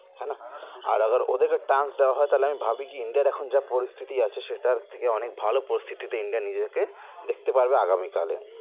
হে না আর রাদার ওদেরকে chance দেওয়া হয় তালে আমি ভাবি কি ইন্ডিয়ার এখন যে পরিস্থিতি আছে সেটার থেকে অনেক ভালো পরিস্থিতিতে ইন্ডিয়া নিজেদেরকে দেখতে পারবে আগামী কালে